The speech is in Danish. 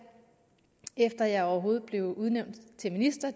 efter at jeg overhovedet blev udnævnt til minister